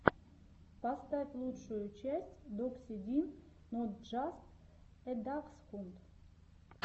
поставь лучшую часть докси дин нот джаст э даксхунд